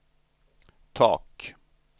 tak